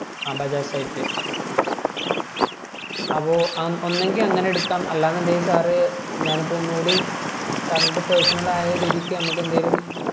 ആ bajajsite ല് അപ്പൊ ഒന്നെഗിൽ അങ്ങനെ എടുക്കാം അല്ല എന്നുണ്ടെങ്കിൽ sir ഞാൻ ഇപ്പം ഒന്നൂടിയും sir ൻ്റെ personal ആയ രീതിക്ക്